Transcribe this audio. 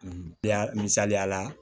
Ya misaliya la